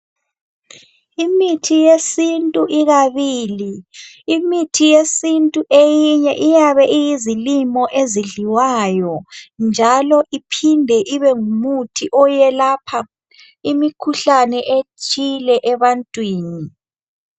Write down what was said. Imithi yesintu ikabili imithi yesintu eyinye iyabe iyizilimo ezidliwayo njalo iphinde ibe ngumuthi oyelapha imikhuhlane ethile ebantwini.